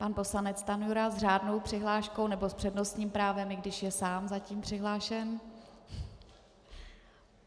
Pan poslanec Stanjura s řádnou přihláškou, nebo s přednostním právem, i když je sám zatím přihlášen.